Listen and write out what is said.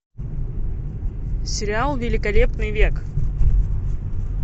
сериал великолепный век